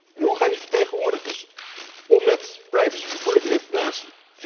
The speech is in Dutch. En hoe gaan die vertegenwoordigers om met privacygevoelige informatie?